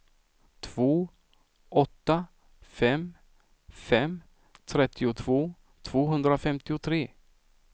två åtta fem fem trettiotvå tvåhundrafemtiotre